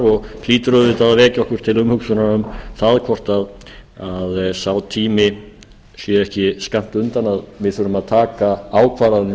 og hlýtur auðvitað að vekja okkur til umhugsunar um það hvort sá tími sé ekki skammt undan að við þurfum að taka ákvarðanir